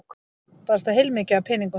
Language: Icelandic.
Barasta heilmikið af peningum.